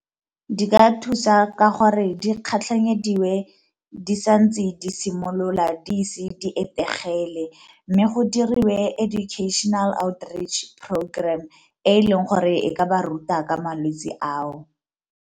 Di ka thusa ka gore di kgatlhanyediwe di sa ntse di simolola di ise di etegele, mme go diriwe educational out reach programme e leng gore e ka ba ruta ka malwetse ao.